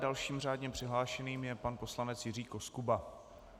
Dalším řádně přihlášeným je pan poslanec Jiří Koskuba.